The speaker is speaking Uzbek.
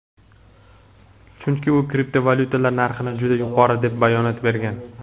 Chunki u kriptovalyutalar narxini juda yuqori deb bayonot bergan.